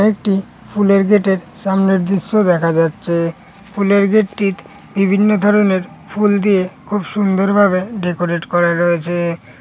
একটি ফুলের গেট এর সামনের দৃশ্য দেখা যাচ্ছে। ফুলের গেট টি বিভিন্ন ধরনের ফুল দিয়ে খুব সুন্দর ভাবে ডেকোরেট করা রয়েছে।